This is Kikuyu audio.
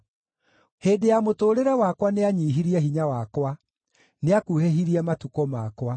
Hĩndĩ ya mũtũũrĩre wakwa nĩanyiihirie hinya wakwa; nĩakuhĩhirie matukũ makwa.